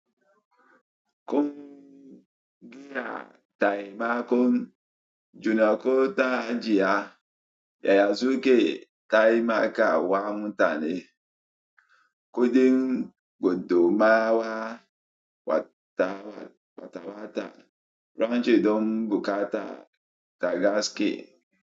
Kun giya taimakon junako ta hajiya yaya suke taimaka wa mutane. Kuɗin gudumawa wata wata don an ce don buƙata ka ga haske.